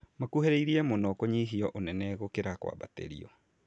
Makuhĩrĩirie mũno kũnyihio ũnene gũkĩra kwambatĩrio